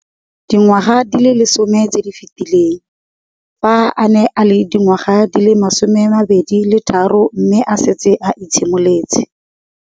Dingwaga di le 10 tse di fetileng, fa a ne a le dingwaga di le 23 mme a setse a itshimoletse.